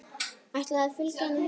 Ætlarðu að fylgja henni heim?